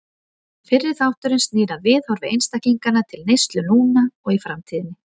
Fyrri þátturinn snýr að viðhorfi einstaklinganna til neyslu núna og í framtíðinni.